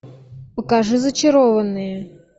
покажи зачарованные